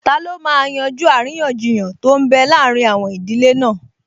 Taló máa yanjú àríyànjiyàn tó n bẹ láàrin àwọn ìdílé náà?